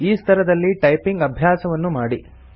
ಈ ಸ್ತರದಲ್ಲಿ ಟೈಪಿಂಗ್ ಅಭ್ಯಾಸವನ್ನು ಮಾಡಿ